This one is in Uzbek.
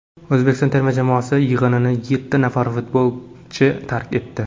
O‘zbekiston terma jamoasi yig‘inini yetti nafar futbolchi tark etdi.